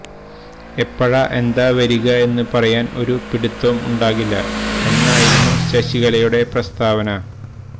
എപ്പഴാ എന്താ വരിക എന്നു പറയാന് ഒരു പിടിത്തോം ഉണ്ടാകില്ല എന്നായിരുന്നു ശശികലയുടെ പ്രസ്താവന